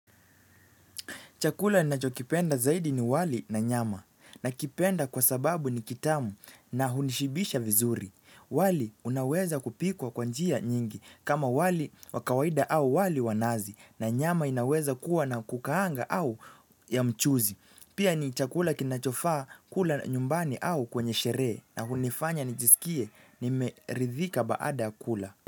Chakula nnachokipenda zaidi ni wali na nyama. Nakipenda kwa sababu ni kitamu, na hunishibisha vizuri. Wali unaweza kupikwa kwa njia nyingi, kama wali wa kawaida au wali wa nazi. Na nyama inaweza kuwa na kukaanga au ya mchuzi. Pia ni chakula kinachofaa kula nyumbani au kwenye sherehe. Na hunifanya nijisikie nimeridhika baada ya kula.